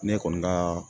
Ne kɔni ka